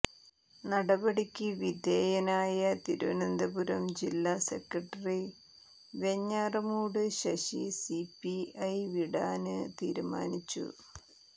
നടപടിക്ക് വിധേയനായ തിരുവനന്തപുരം ജില്ലാ secretary Venjaramoodu Sasi C P I വിടാന് തീരുമാനിച്ചു